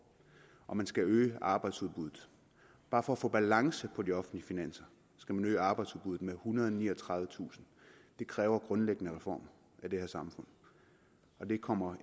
og man skal øge arbejdsudbuddet bare for at få balance på de offentlige finanser skal man øge arbejdsudbuddet med ethundrede og niogtredivetusind det kræver grundlæggende reformer af det her samfund og det kommer